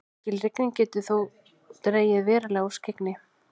mikil rigning getur þó dregið verulega úr skyggni